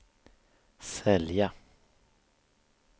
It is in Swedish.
sälja